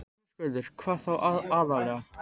Höskuldur: Hvað þá aðallega?